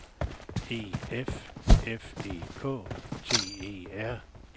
E F F E K T E R